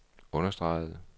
understregede